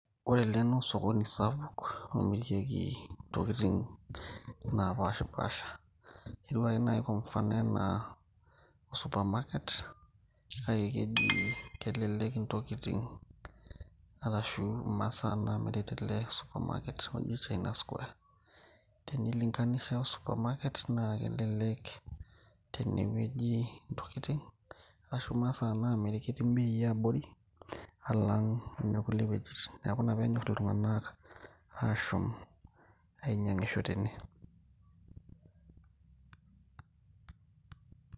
ore ele naa osokoni sapuk omirieki intokiting napashipasha etiu ake naaji kwa mfano enaa o supermarket kake keji kelelek intokitin arashu imasaa namiri tele supermarket oji china square tenilinganisha o supermarket naa kelelek tenewueji intokitin ashu imasaa naamiri ketii imbei abori alang inekulie wuejitin neku ina penyorr iltung'anak ashom ainyiang'isho tene.